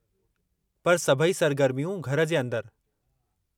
पर सभई सरगरमियूं घर जे अंदरि।